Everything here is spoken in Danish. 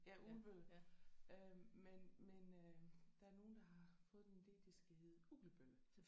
Ja Ugelbølle øh men men øh der er nogen der har fået den ide det skal hedde Ugelbølle